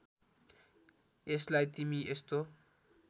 यसलाई तिमी यस्तो